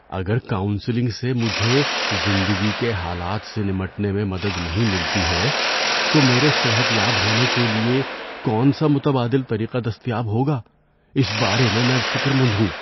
اگر کاؤنسلنگ سے مجھے زندگی کے حالات سے نمٹنے میں مدد نہیں ملتی ہے تو میرے صحت یاب ہونے کے لیے کون سا متبادل طریقہ دستیاب ہوگا، اس بارے میں میں فکر مند ہوں۔